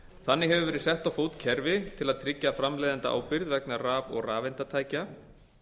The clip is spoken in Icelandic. þannig hefur verið sett á fót kerfi til að tryggja framleiðendaábyrgð vegna raf og rafeindatækja